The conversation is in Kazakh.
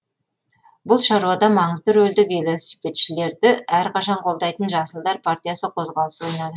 бұл шаруада маңызды рөлді велосипедшілерді әрқашан қолдайтын жасылдар партиясы қозғалысы ойнады